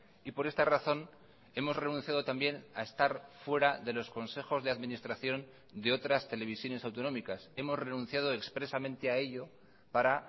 y por esta razón hemos renunciado también a estar fuera de los consejos de administración de otras televisiones autonómicas hemos renunciado expresamente a ello para